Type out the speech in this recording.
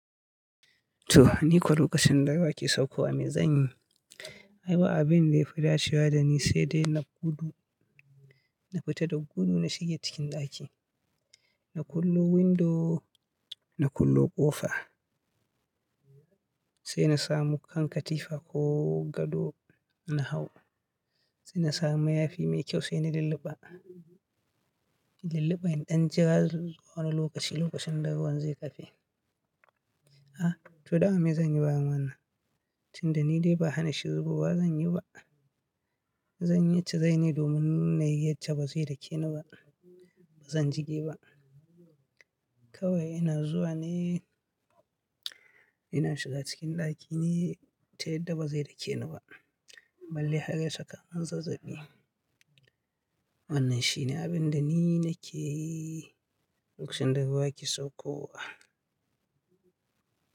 To, ni ko lokacin da ruwa ke saukowa, me zan yi? Ai ba abin da ya fita cewa da ni sai dai na gudu, na fita da gudu na shige cikin ɗaki. Na kullo window, na kullo ƙofa, sai na samu kan katifa ko gado na hau. Sai na samu mayafi mai kyau sai na lulluɓa. In lulluɓa i ɗan jira wani lokaci, lokacin da ruwan zai ƙafe. A, to dama me zan yi bayan wannan? Tun da ni dai ba hana shin ruwa zan yi ba. Zan yi ita dai ne domin na yi ita ba zai dake ni ba. Ba zan jige ba. Kawai ina zuwa ne, ina shiga cikin ɗaki ne, ta yadda ba zai dake ni ba. Balle har ya sakani zazzabi. Wannan shi ne abin da ni nake yi lokacin da ruwa ke sauƙowa.